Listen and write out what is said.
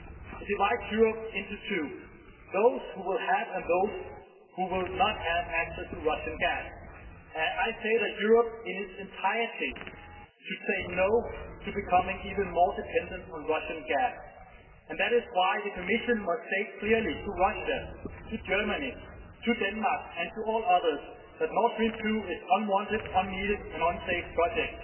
It divides Europe into two those who will have and those who will not have access to Russian gas. I say that Europe in its entirety should say No' to becoming even more dependent on Russian gas and that is why the Commission must state clearly to Russia, to Germany, to Denmark and to all others that Nord Stream 2 is an unwanted, unneeded and unsafe project